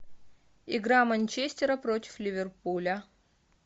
игра манчестера против ливерпуля